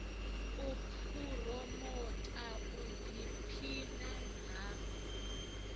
u phuromotha u ḓiphina ha